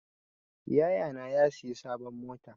Yaya na ya siya sabon mota.